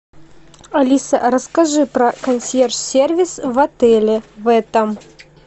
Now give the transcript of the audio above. алиса расскажи про консьерж сервис в отеле в этом